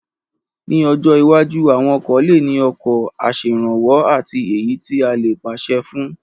Ní ọjọ́ iwájú, àwọn ọkọ̀ lè ní ọkọ̀ aṣèrànwọ́ àti èyí tí a lè pàṣẹ fún